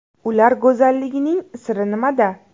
Ular go‘zalligining siri nimada?